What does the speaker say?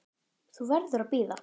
Þú verður að bíða.